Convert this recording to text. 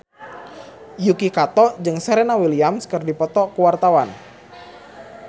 Yuki Kato jeung Serena Williams keur dipoto ku wartawan